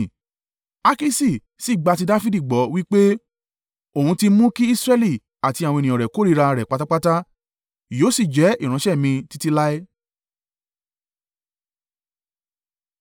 Akiṣi sì gba ti Dafidi gbọ́, wí pé, “Òun ti mú kí Israẹli àti àwọn ènìyàn rẹ̀ kórìíra rẹ̀ pátápátá, yóò si jẹ́ ìránṣẹ́ mi títí láé.”